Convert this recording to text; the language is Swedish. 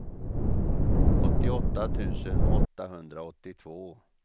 åttioåtta tusen åttahundraåttiotvå